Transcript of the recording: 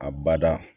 A bada